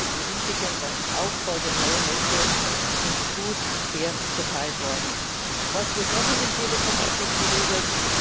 Die Risiken beim Aufbau der neuen Netze sind gut und fair verteilt worden. Was wird noch in dem Telekom Paket geregelt?